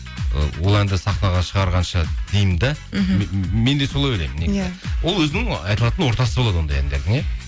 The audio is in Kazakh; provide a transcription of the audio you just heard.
ы ол әнді сахнаға шығарғанша деймін де мхм мен де солай ойлаймын ол өзінің айтылатын ортасы болады ондай әндердің иә